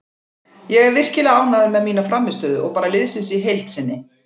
Ég er virkilega ánægður með mína frammistöðu og bara liðsins í heild sinni.